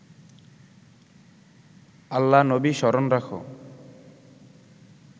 আল্লা-নবী স্মরণ রাখ